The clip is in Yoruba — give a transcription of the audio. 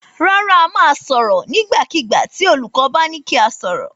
Rárá, a máa sọ̀rọ̀ nígbàkigbà tì olùkọ́ bá ní kí a sọ̀rọ̀.